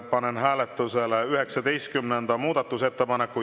Panen hääletusele 19. muudatusettepaneku.